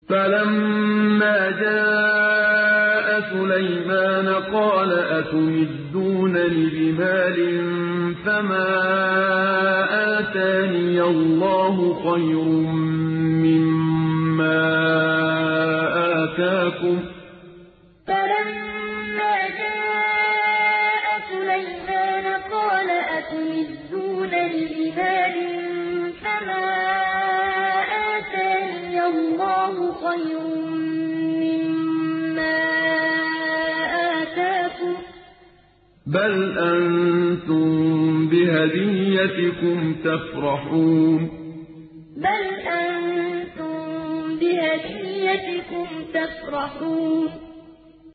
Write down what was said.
فَلَمَّا جَاءَ سُلَيْمَانَ قَالَ أَتُمِدُّونَنِ بِمَالٍ فَمَا آتَانِيَ اللَّهُ خَيْرٌ مِّمَّا آتَاكُم بَلْ أَنتُم بِهَدِيَّتِكُمْ تَفْرَحُونَ فَلَمَّا جَاءَ سُلَيْمَانَ قَالَ أَتُمِدُّونَنِ بِمَالٍ فَمَا آتَانِيَ اللَّهُ خَيْرٌ مِّمَّا آتَاكُم بَلْ أَنتُم بِهَدِيَّتِكُمْ تَفْرَحُونَ